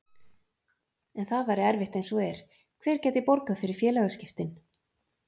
En það væri erfitt eins og er, hver gæti borgað fyrir félagaskiptin?